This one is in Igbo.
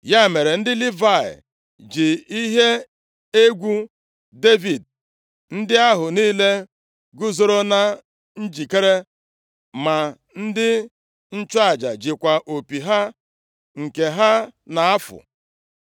Ya mere, ndị Livayị ji ihe egwu Devid ndị ahụ niile guzoro na njikere, ma ndị nchụaja jikwa opi ha nke ha na-afụ.